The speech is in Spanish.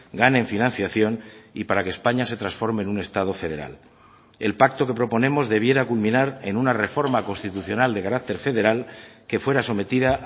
gane en financiación y para que españa se transforme en un estado federal el pacto que proponemos debiera culminar en una reforma constitucional de carácter federal que fuera sometida